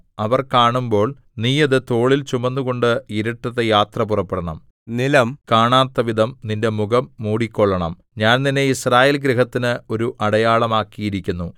അവർ കാണുമ്പോൾ നീ അത് തോളിൽ ചുമന്നുകൊണ്ട് ഇരുട്ടത്ത് യാത്ര പുറപ്പെടണം നിലം കാണാത്തവിധം നിന്റെ മുഖം മൂടിക്കൊള്ളണം ഞാൻ നിന്നെ യിസ്രായേൽഗൃഹത്തിന് ഒരു അടയാളം ആക്കിയിരിക്കുന്നു